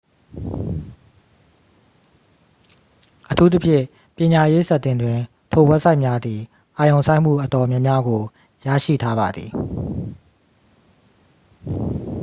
အထူးသဖြင့် ပညာရေးဆက်တင်တွင် ထိုဝဘ်ဆိုက်များသည် အာရုံစိုက်မှုအတော်များများကို ရရှိထားပါသည်